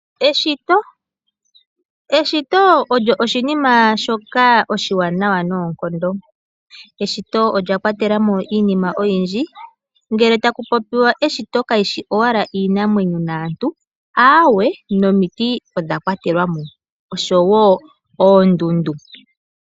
Eshito Eshito olyo oshinima shoka oshiwanawa noonkondo. Eshito olya kwatela mo iinima oyindji. Ngele taku popiwa eshito kali shi owala iinamwenyo naantu. Aawe, nomiti odha kwatelwa mo osho wo oondundu.